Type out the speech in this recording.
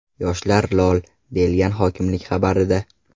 Yoshlar lol...”, deyilgan hokimlik xabarida.